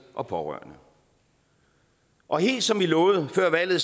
og pårørende og helt som vi lovede før valget